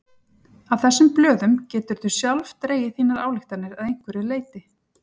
Af þessum blöðum geturðu sjálf dregið þínar ályktanir að einhverju leyti.